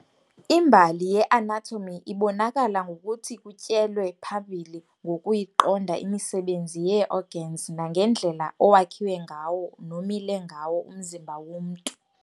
Imbali ye-anatomy ibonakala ngokuthi kutyelwe phambili ngokuyiqonda imisebenzi yee-organs nangendlela owakhiwe ngawo nomile ngawo umzimba womntu.